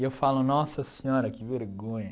E eu falo, nossa senhora, que vergonha.